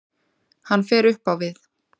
Hann fer upp á við.